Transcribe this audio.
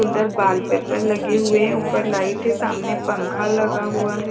अंदर वॉलपेपर लगे हुए हैं ऊपर लाइट है सामने पंखा लगा हुआ है।